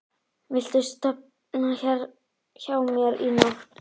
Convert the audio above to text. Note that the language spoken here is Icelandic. Viltu sofa hérna hjá mér í nótt?